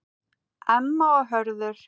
Emma og Hörður.